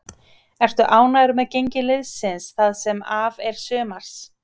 Ertu ánægður með gengi liðsins það sem af er sumars?